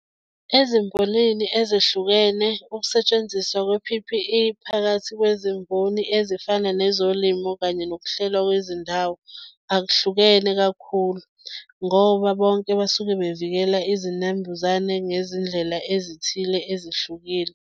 Ezimbonini ezehlukene ukusetshenziswa kwe-P_P_E phakathi kwezimboni ezifana nezolimo kanye nokuhlelwa kwezindawo ahlukene kakhulu. Ngoba bonke basuke bevikela izinambuzane ngezindlela ezithile ezihlukile.